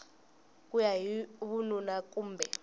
ku ya hi vununa kumbe